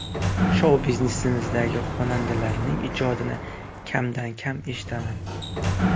Shou biznesimizdagi xonandalarning ijodini kamdan kam eshitaman.